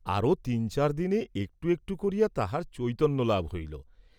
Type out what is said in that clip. আরাে তিন চার দিনে একটু একটু করিয়া তাহার চৈতন্য লাভ হইল।